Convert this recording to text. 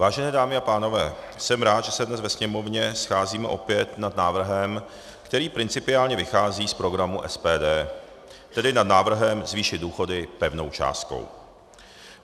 Vážené dámy a pánové, jsem rád, že se dnes ve Sněmovně scházíme opět nad návrhem, který principiálně vychází z programu SPD, tedy nad návrhem zvýšit důchody pevnou částkou.